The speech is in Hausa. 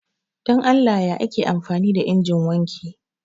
Dan Allah ya ake amfani da injin wanki